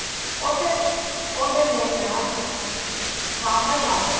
ਉਹ੍ਤੇ ਉਹਦੇ ਲਈ ਨਾ ਸਾਮਬਰ ਬਣਦਾ